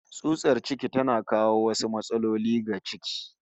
Tsutsar ciki tana kawo wasu matsaloli ga ciki